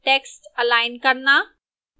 text align करना